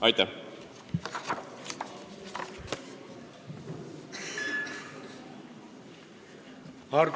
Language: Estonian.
Aitäh!